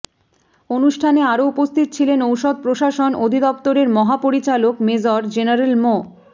অনুষ্ঠানে আরো উপস্থিত ছিলেন ঔষধ প্রশাসন অধিদপ্তরের মহাপরিচালক মেজর জেনারেল মো